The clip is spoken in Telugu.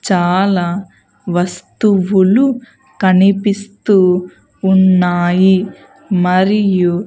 చాలా వస్తువులు కనిపిస్తూ ఉన్నాయి. మరియు --